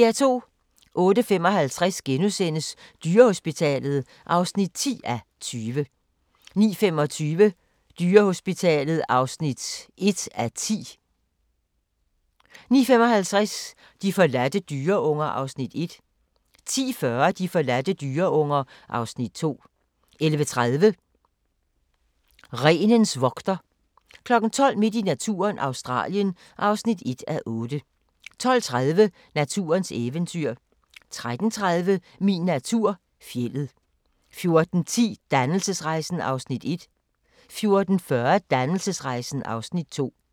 08:55: Dyrehospitalet (10:20)* 09:25: Dyrehospitalet (1:10) 09:55: De forladte dyreunger (Afs. 1) 10:40: De forladte dyreunger (Afs. 2) 11:30: Renens vogter 12:00: Midt i naturen – Australien (1:8) 12:30: Naturens eventyr 13:30: Min natur - fjeldet 14:10: Dannelsesrejsen (Afs. 1) 14:40: Dannelsesrejsen (Afs. 2)